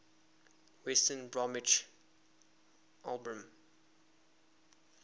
west bromwich albion